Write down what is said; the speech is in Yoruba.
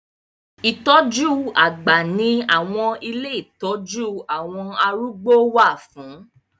Ìtọ́jú àgbà ni àwọn ilé ìtọ́jú àwọn arúgbó wà fún